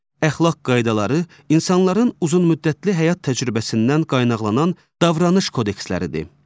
Əxlaq qaydaları insanların uzunmüddətli həyat təcrübəsindən qaynaqlanan davranış kodeksləridir.